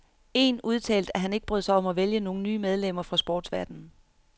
Én udtalte, at han ikke brød sig om at vælge nogen nye medlemmer fra sportsverdenen.